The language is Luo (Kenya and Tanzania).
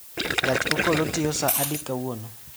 gach okolo tiyo saa adi kawuono